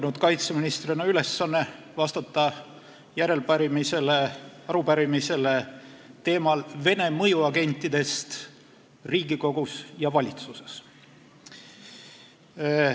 Mulle kaitseministrina on langenud ülesanne vastata järelepärimisele, arupärimisele teemal "Vene mõjuagentidest Riigikogus ja valitsuses".